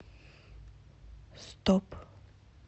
стоп